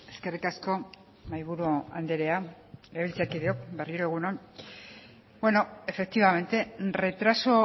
eskerrik asko mahaiburu andrea legebiltzarkideok berriro egun on efectivamente retraso